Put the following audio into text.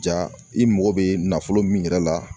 Ja i mago bɛ nafolo min yɛrɛ la